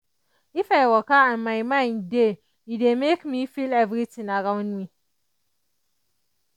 if i waka and my mind dey e dey make me feel everything around me